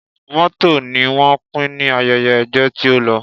Mọ́tò ni wọ́n pín ní ayẹyẹ ẹgbẹ́ tí ó lọ